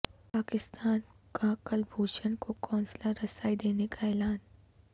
پاکستان کا کلبھوشن کو قونصلر رسائی دینے کا اعلان